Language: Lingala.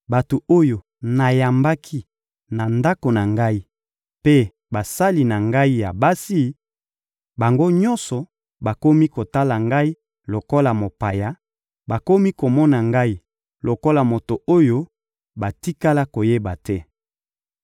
bato oyo nayambaki na ndako na ngai mpe basali na ngai ya basi, bango nyonso bakomi kotala ngai lokola mopaya, bakomi komona ngai lokola moto oyo batikala koyeba te.